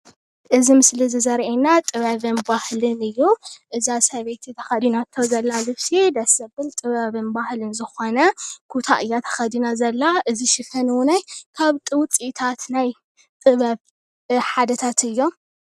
እዚ ምስሊ እዚ ዘርእየና ጥበብን ባህልን እዩ። እዛ ሰበይቲ ተኸዲናቶ ዘላ ልብሲ ደስ ዘብል ጥበብን ባህልን ዝኾነ ኩታ እያ ተኸዲና ዘላ እዚ ሽፈን ዉነይ ካብቲ ዉፅኢታት ናይ ጥበብ ሓደታት እዮም።